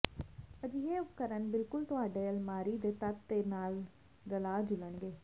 ਅਜਿਹੇ ਉਪਕਰਣ ਬਿਲਕੁਲ ਤੁਹਾਡੇ ਅਲਮਾਰੀ ਦੇ ਤੱਤ ਦੇ ਨਾਲ ਰਲਾ ਜੁਲਣਗੇ